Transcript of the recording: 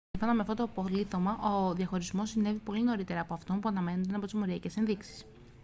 σύμφωνα με αυτό το απολίθωμα ο διαχωρισμός συνέβη πολύ νωρίτερα από αυτό που αναμενόταν από τις μοριακές ενδείξεις